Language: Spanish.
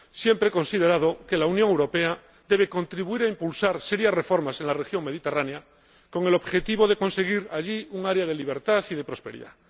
Siempre he considerado que la Unión Europea debe contribuir a impulsar serias reformas en la región mediterránea, con el objetivo de conseguir allí un área de libertad y de prosperidad.